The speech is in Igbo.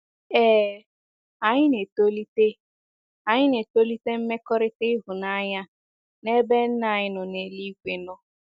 Ee, anyị na-etolite, anyị na-etolite mmekọrịta ịhụnanya n’ebe Nna anyị nọ n'eluigwe nọ.